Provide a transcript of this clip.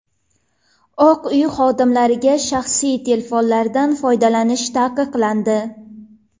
Oq Uy xodimlariga shaxsiy telefonlardan foydalanish taqiqlandi.